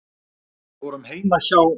Við vorum heima hjá